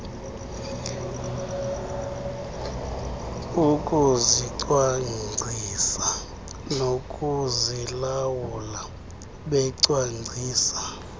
ukuzicwangcisa nokuzilawula becwangcisa